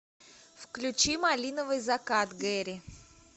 включи малиновый закат гэри